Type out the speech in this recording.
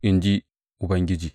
in ji Ubangiji.